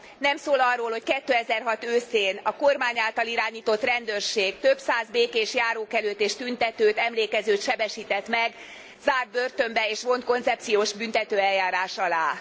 Nem szól arról, hogy 2006 őszén a kormány által irányított rendőrség több száz békés járókelőt és tüntetőt, emlékezőt sebesített meg, zárt börtönbe és vont koncepciós büntetőeljárás alá.